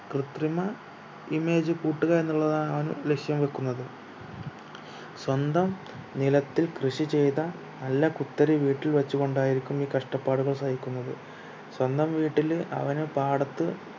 കൃതിമ image കൂട്ടുക എന്നുള്ളതാണ് അവൻ ലക്ഷ്യം വെക്കുന്നത് സ്വന്തം നിലത്തിൽ കൃഷി ചെയ്ത നല്ല കുത്തരി വീട്ടിൽ വെച്ചുകൊണ്ടായിരിക്കും ഈ കഷ്ട്ടപ്പാടുകൾ സഹിക്കുന്നത് സ്വന്തം വീട്ടില് അവന് പാടത്ത്